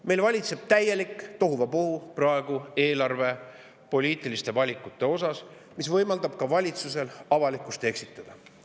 Meil valitseb praegu eelarvepoliitiliste valikutega täielik tohuvabohu, mis võimaldab valitsusel avalikkust eksitada.